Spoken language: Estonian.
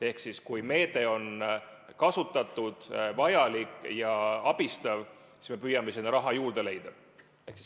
Ehk kui meedet on kasutatud, see on vajalik ja abistav, siis me püüame raha juurde leida.